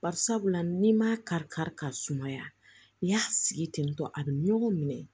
Bari sabula n'i m'a kari kari ka sumaya n'i y'a sigi tentɔ a bɛ ɲɔgɔn minɛ